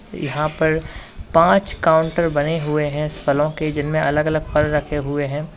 यहां पर पांच काउंटर बने हुए हैं फलों के जिनमें अलग अलग फल रखे हुए हैं।